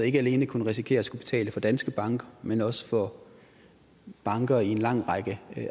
ikke alene kunne risikere at skulle betale for danske banker men også for banker i en lang række